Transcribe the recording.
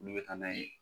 Olu bɛ taa n'a ye